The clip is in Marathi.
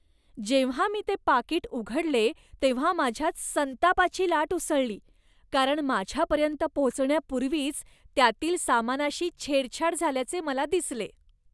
जेव्हा मी ते पाकीट उघडले तेव्हा माझ्यात संतापाची लाट उसळली, कारण माझ्यापर्यंत पोहोचण्यापूर्वीच त्यातील सामानाशी छेडछाड झाल्याचे मला दिसले.